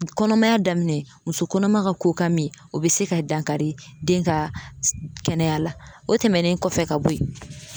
Kɔnɔmaya daminɛ muso kɔnɔma ka koka mi o be se ka dankari den ka kɛnɛya la o tɛmɛnen kɔfɛ ka bo yen